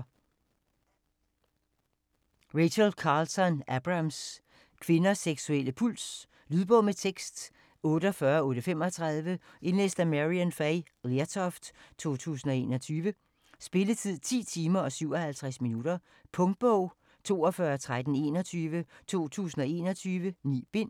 Abrams, Rachel Carlton: Kvinders seksuelle puls Lydbog med tekst 48835 Indlæst af Maryann Fay Lertoft, 2021. Spilletid: 10 timer, 57 minutter. Punktbog 421321 2021. 9 bind.